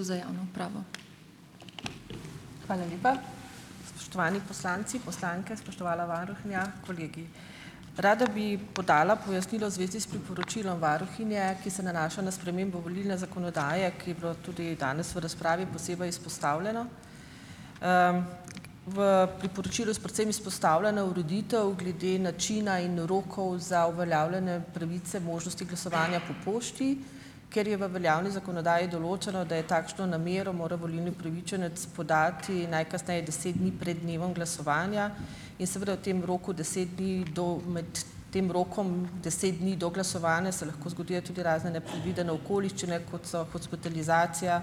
Hvala lepa. Spoštovani poslanci, poslanke, spoštovana varuhinja, kolegi. Rada bi podala pojasnilo v zvezi s priporočilom varuhinje, ki se nanaša na spremembo volilne zakonodaje, ki je bilo tudi danes v razpravi posebej izpostavljeno. V, priporočilu s predvsem izpostavljena ureditev glede načina in rokov za uveljavljenje pravice možnosti glasovanja po pošti. Ker je v veljavni zakonodaji določeno, da je takšno namero mora volilni upravičenec podati najkasneje deset dni pred dnevom glasovanja, je seveda v tem roku deset dni do, med tem rokom deset dni do glasovanja se lahko zgodijo tudi razne nepredvidene okoliščine, kot so hospitalizacija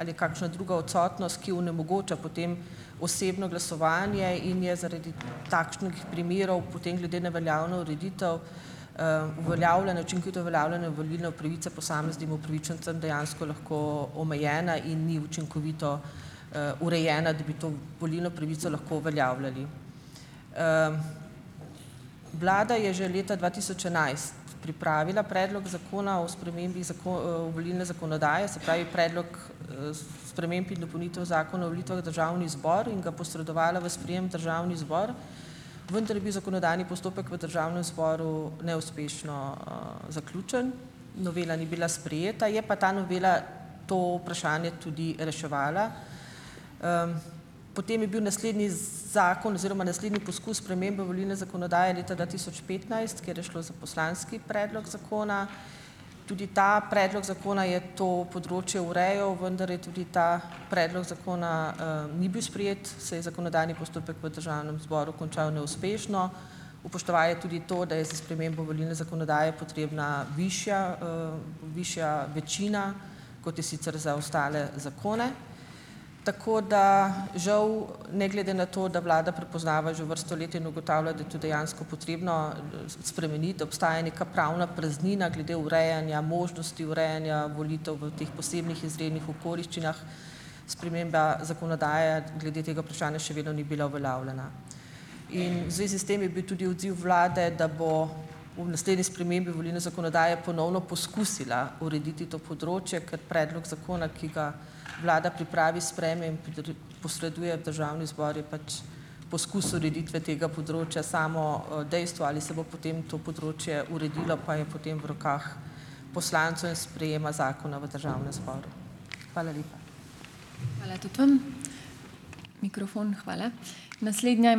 ali kakšna druga odsotnost, ki onemogoča potem osebno glasovanje in je zaradi takšnih primerov potem glede na veljavno ureditev, uveljavlene učinkovito uveljavljenje volilne pravice posameznim upravičencem dejansko lahko omejeno in ni učinkovito, urejeno, da bi to volilno pravico lahko uveljavljali. Vlada je že leta dva tisoč enajst pripravila predlog zakona o spremembi volilne zakonodaje, se pravi, Predlog sprememb in dopolnitev Zakona o volitvah v Državni zbor in ga posredovala v sprejem državni zbor, vendar je bil zakonodajni postopek v državnem zboru neuspešno, zaključen, novela ni bila sprejeta, je pa ta novela to vprašanje tudi reševala. Potem je bil naslednji, zakon oziroma naslednji poskus spremembe volilne zakonodaje leta dva tisoč petnajst, kjer je šlo za poslanski predlog zakona. Tudi ta predlog zakona je to področje urejal, vendar je tudi ta predlog zakona, ni bil sprejet, se je zakonodajni postopek v državnem zboru končal neuspešno, upoštevaje tudi to, da je s spremembo volilne zakonodaje potrebna višja, višja večina, kot je sicer za ostale zakone. Tako da žal ne glede na to, da vlada prepoznava že vrsto let, in ugotavlja, da je to dejansko potrebno spremeniti, obstaja neka pravna praznina glede urejanja, možnosti urejanja volitev v teh posebnih izrednih okoliščinah. Sprememba zakonodaje glede tega vprašanja še vedno ni bila uveljavljena. In v zvezi s tem je bil tudi odziv vlade, da bo v naslednji spremembi volilne zakonodaje ponovno poskusila urediti to področje, kot predlog zakona, ki ga vlada pripravi, sprejme in posreduje državni zbor, je pač poskus ureditve tega področja. Samo, dejstvo, ali se bo potem to področje uredilo, pa je potem v rokah poslancev in sprejema zakona v državnem zboru. Hvala lepa.